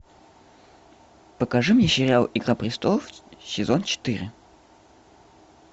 покажи мне сериал игра престолов сезон четыре